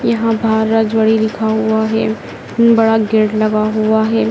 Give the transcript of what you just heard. यहां बाहर रजवाड़ी लिखा हुआ है बड़ा गेट लगा हुआ है।